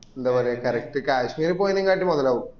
എന്താ പറയാ correct കശ്മീര് പോയേനേക്കാട്ടും മൊതലാകും